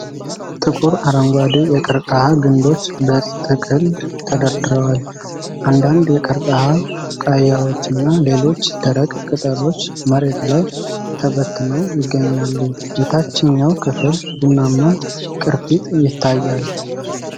ጥቁር አረንጓዴ የቀርከሃ ግንዶች በጥቅል ተደርድረዋል። አንዳንድ የቀርከሃ ቡቃያዎችና ሌሎች ደረቅ ቅጠሎች መሬት ላይ ተበትነው ይገኛሉ፤ የታችኛው ክፍል ቡናማ ቅርፊት ይታያል።